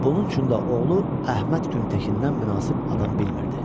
Bunun üçün də oğlu Əhməd Güntəkindən münasib adam bilmirdi.